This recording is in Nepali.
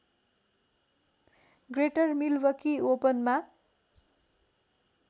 ग्रेटर मिलवकी ओपनमा